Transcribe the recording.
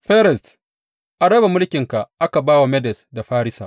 Feres, An raba mulkinka aka ba wa Medes da Farisa.